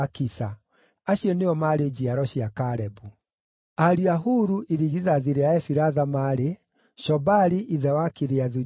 Acio nĩo maarĩ njiaro cia Kalebu. Ariũ a Huru, irigithathi rĩa Efiratha, maarĩ: Shobali ithe wa Kiriathu-Jearimu,